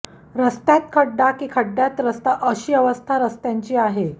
रस्त्यात खड्डा की खड्डयात रस्ता अशी अवस्था रस्त्यांची आहे